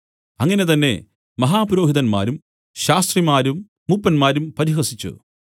അങ്ങനെ തന്നെ മഹാപുരോഹിതന്മാരും ശാസ്ത്രിമാരും മൂപ്പന്മാരും പരിഹസിച്ചു